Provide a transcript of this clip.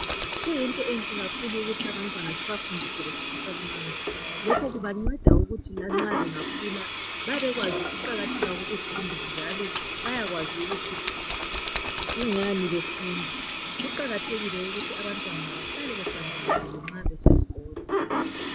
Kuyinto enhle kakhulu ukuthi abantwana sibafundise besesebancane. Lokhu kubanceda ukuthi lanxa bengakhula babekwazi ukuqakatheka kokufunda njalo bayakwazi ukuthi kungani befunda. Kuqakathekile ukuthi abantwana bahlale behlambulukile nxa besiyeskolo.